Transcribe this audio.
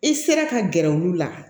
I sera ka gɛrɛ olu la